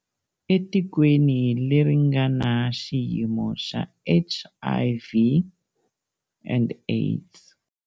Etikweni leri nga na xiyimo xa HIV and AIDS.